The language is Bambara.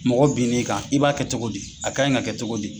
Mɔgɔ bin'i kan, i b'a kɛ cogo d,i a ka ye ka kɛ cogo di?